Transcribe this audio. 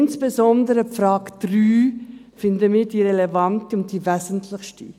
Insbesondere die Frage 3 finden wir die relevante und die wesentlichste.